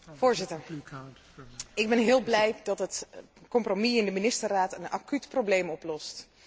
Voorzitter, ik ben heel blij dat het compromis in de Ministerraad een acuut probleem oplost.